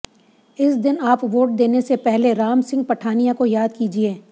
इस दिन आप वोट देने से पहले राम सिंह पठानिया को याद कीजिये